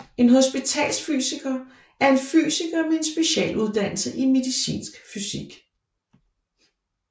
En hospitalsfysiker er en fysiker med en specialuddannelse i medicinsk fysik